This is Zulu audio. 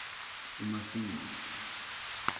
umasingane